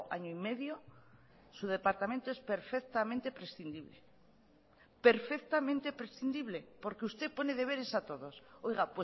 año y medio su departamento es perfectamente prescindible perfectamente prescindible porque usted pone deberes a todos oiga